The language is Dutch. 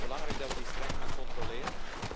Het is belangrijk dat we die streng gaan controleren.